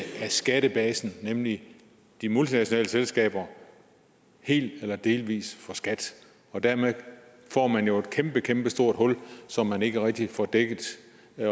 skattebasen nemlig de multinationale selskaber helt eller delvis fra skat og dermed får man jo et kæmpe kæmpe stort hul som man ikke rigtig får dækket